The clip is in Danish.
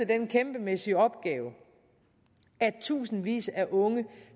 den kæmpemæssige opgave at tusindvis af unge